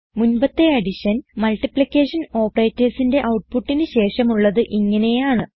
മുൻപത്തെ addition multiplication operators ന്റെ ഔട്ട്പുട്ടിന് ശേഷമുള്ളത് ഇങ്ങനെയാണ്